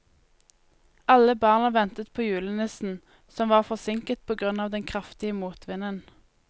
Alle barna ventet på julenissen, som var forsinket på grunn av den kraftige motvinden.